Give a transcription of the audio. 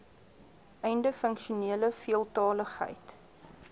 einde funksionele veeltaligheid